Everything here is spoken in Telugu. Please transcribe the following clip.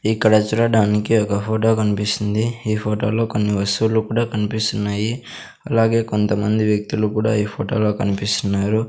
ఇక్కడ చూడడానికి ఒక ఫోటో కనిపిస్తుంది ఈ ఫోటో లో కొన్ని వస్తువులు కూడా కనిపిస్తున్నాయి అలాగే కొంతమంది వ్యక్తులు కూడా ఈ ఫోటో లో కనిపిస్తున్నారు.